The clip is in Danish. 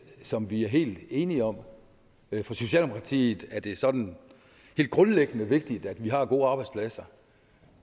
som vi er helt enige om for socialdemokratiet er det sådan helt grundlæggende vigtigt at vi har gode arbejdspladser